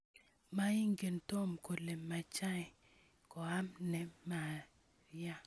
Maingen tom kole machei koam ne maria